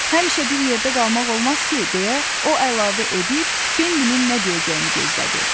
Həmişə bir yerdə qalmaq olmaz ki, deyə o əlavə edib, Bambinin nə deyəcəyini gözlədi.